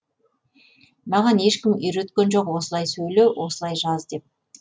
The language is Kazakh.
маған ешкім үйреткен жоқ осылай сөйле осылай жаз деп